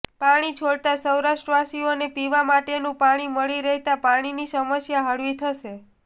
પાણી છોડાતા સૌરાષ્ટ્રવાસીઓને પીવા માટેનું પાણી મળી રહેતા પાણીની સમસ્યા હળવી થશે